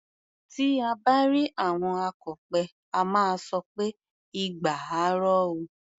Tí à bá rí àwọn akọ̀pẹ, a máa sọ pé "igba á ro o".